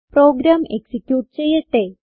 programme execute ചെയ്യട്ടെ